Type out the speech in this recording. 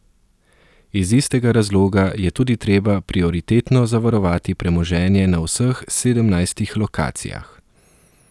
Iz istega razloga je tudi treba prioritetno zavarovati premoženje na vseh sedemnajstih lokacijah.